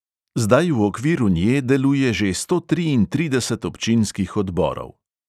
"Zdaj v okviru nje deluje že sto triintrideset občinskih odborov."